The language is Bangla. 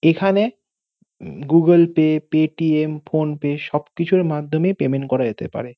এখানে উম গুগল পে পে.টি.এম ফোন পেয়ে সব কিছুর মাধ্যমে পেমেনট করা যেতে পারে।